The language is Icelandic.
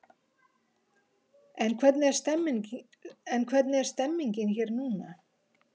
En hvernig er stemmningin hér núna?